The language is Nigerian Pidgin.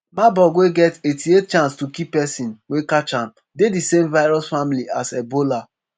marburg wey get eighty-eight chance to kill pesin wey catch am dey di same virus family as ebola